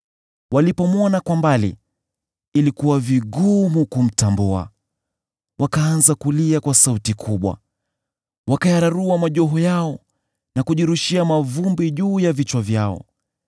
Walipomwona kwa mbali, ilikuwa vigumu kumtambua. Wakaanza kulia kwa sauti kubwa, wakayararua majoho yao na kujirushia mavumbi juu ya vichwa vyao.